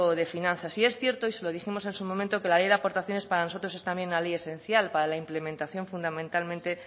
de finanzas sí es cierto y se lo dijimos en su momento que la ley de aportaciones para nosotros es también una ley esencial para la implementación fundamentalmente